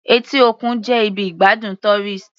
Etí òkun jẹ́ ibi ìgbádùn tourist.